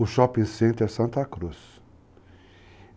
o Shopping Center Santa Cruz.